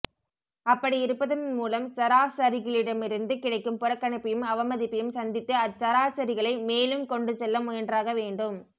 அப்படி இருப்பதன் மூலம் சராசரிகளிடமிருந்து கிடைக்கும் புறக்கணிப்பையும் அவமதிப்பையும் சந்தித்து அச்சராசரிகளை மேலே கொண்டுசெல்ல முயன்றாகவேண்டும்